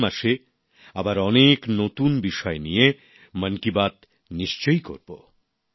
পরের মাসে আবার অনেক নতুন বিষয় নিয়ে মন কি বাত নিশ্চয়ই করবো